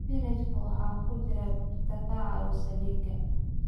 Isbinaashka waxa ku jira birta ka caawisa dhiigga.